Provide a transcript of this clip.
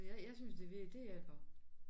Så jeg jeg synes det det hjælper